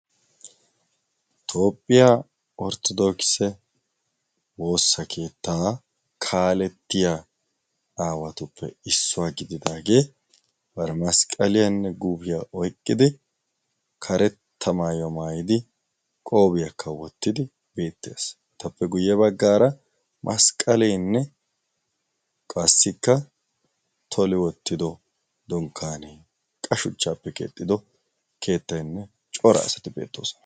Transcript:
toophphiyaa orttodokise woossa keettaa kaalettiya aawatuppe issuwaa gididaagee bara masqqaliyaanne guufiyaa oiqqidi karetta maayyo maayidi qoobiyaakka wottidi beetties etappe guyye baggaara masqqalienne qassikka toli wottido donkkanee qashuchchaappe keexxido keettainne cora asati beettoosona